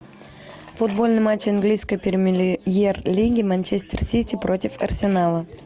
футбольный матч английской премьер лиги манчестер сити против арсенала